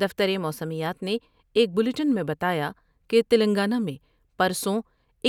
دفتر موسمیات نے ایک بلیٹن میں بتایا کہ تلنگانہ میں پرسوں